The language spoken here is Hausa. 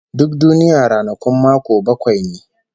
Duk duniya ranakun mako bakwai ne